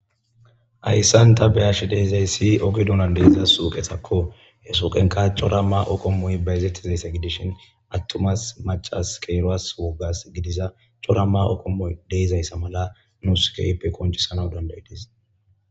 Ayssanta beyash deizayssi oge duunan deeiza suuqesakko he suqenka cora ma oqommuy bayizettizaysse gidishin attumas macas keeroas woggas gidiza corama okommu deizayssa mala nuuskeype koncisana dandaydis.